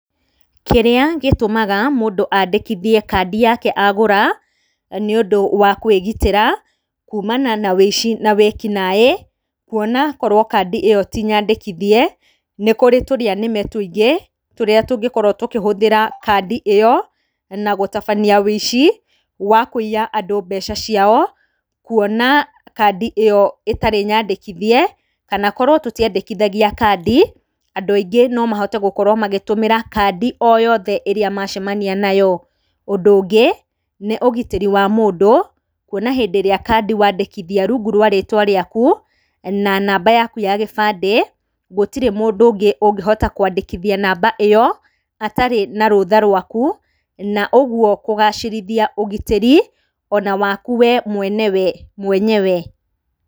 Kĩrĩa gĩtũmaga mũndũ andĩkithie kandi yake agura nĩũndũ wa kwĩgitĩra kumana na ũici na wĩkinaĩ, kuona korwo kandi ĩyo ti nyandĩkithie nĩkũrĩ tũrĩanĩme tũingĩ tũrĩa tũngĩkorwo tũkĩhũthĩra kandi ĩyo na gũtabania ũici wa kũiya andũ mbeca ciao, kuona kandi ĩyo ĩtarĩ nyandĩkithie kana korwo tũtiandĩkithagia kandi andũ aingĩ nomahote gũkorwo magĩtũmĩra kandi o yothe ĩrĩa macemania nayo. Ũndũ ũngĩ nĩ ũgitĩri wa mũndũ kuona hĩndĩ ĩrĩa kandi wandĩkithia rũngũ rwa rĩtwa rĩaku na namba yaku ya gĩbandĩ, gũtirĩ mũndũ ũngĩ ũngĩhota kwandĩkithia namba ĩyo atarĩ na rũtha rwaku na ũguo kũgacĩrithia ũgitĩri ona waku wee mwenyewe.